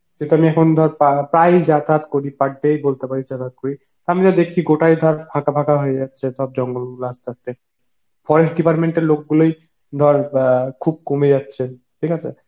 সে তো মাই এখন ধর পা~ প্রায়ই যাতায়াত করি per day ই বলতে পারিস যাতায়াত করি আমি তো দেখছি ওটাই ধর ফাঁকা ফাঁকা হয়ে যাচ্ছে জঙ্গল গুলো আস্তে আস্তে, forest department এর লোক গুলোই ধর গা~ খুব কমে যাচ্ছে, ঠিক আছে